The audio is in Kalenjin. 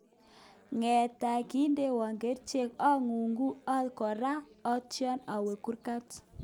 Ngetai kindoiwo kerchek ang'ung'u korok atio awe kurkat